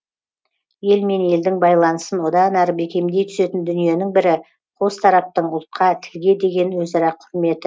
ел мен елдің байланысын одан әрі бекемдей түсетін дүниенің бірі қос тараптың ұлтқа тілге деген өзара құрметі